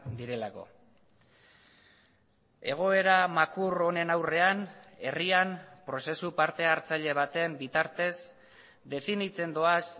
direlako egoera makur honen aurrean herrian prozesu partehartzaile baten bitartez definitzen doaz